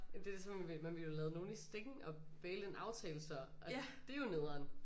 Jamen det er ligesom man ville jo lade nogen i stikken og baile en aftale så og det er jo nederen